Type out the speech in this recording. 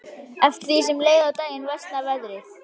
Eftir því sem leið á daginn versnaði veðrið.